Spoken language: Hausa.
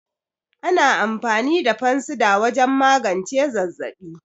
Ana amfani da Fansida wajan magance zazzaɓi